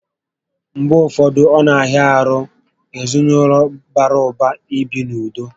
Mgbe ụfọdụ, ọ na ahịa ahụ ezinaụlọ bàrà ụba ibi n'ụdị